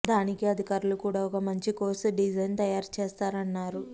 దానికి అధికారులు కూడా ఒక మంచి కోర్స్ డిజైన్ తయారు చేస్తారన్నారు